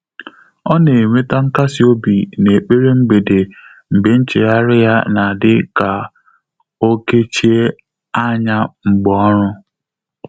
Ọ́ nà-ènwétá nkàsị́ óbí n’ékpèré mgbèdé mgbè nchéghárị́ yá nà-ádị́ kà ó kéchíé ányá mgbè ọ́rụ́.